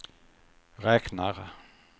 räknar